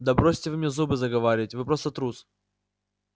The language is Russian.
да бросьте вы мне зубы заговаривать вы просто трус